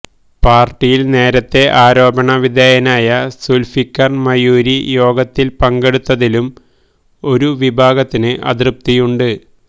പാർട്ടിയിൽ നേരത്തെ ആരോപണ വിധേയനായ സുൽഫിക്കർ മയൂരി യോഗത്തിൽ പങ്കെടുത്തതിലും ഒരു വിഭാഗത്തിന് അതൃപ്തിയുണ്ട്